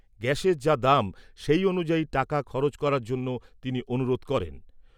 গ্যাসের যা দাম সেই অনুযায়ী টাকা খরচ করার জন্য তিনি অনুরোধ করেন।